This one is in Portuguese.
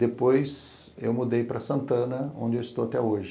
Depois eu mudei para Santana, onde eu estou até hoje.